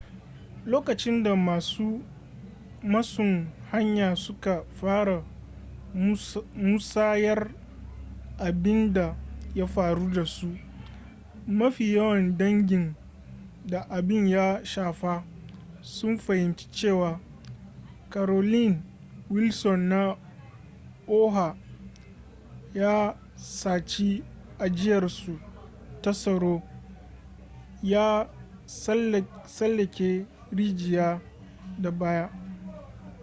lokacin da masu masun haya suka fara musayar abin da ya faru da su mafi yawan dangin da abin ya shafa sun fahimci cewa carolyn wilson na oha ya saci ajiyarsu ta tsaro ya tsallake rijiya da baya